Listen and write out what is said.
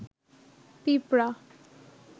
পিপড়া